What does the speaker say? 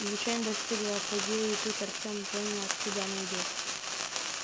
звучание достигло апогея и тут артём понял откуда оно идёт